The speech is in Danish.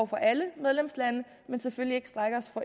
for alle medlemslande men selvfølgelig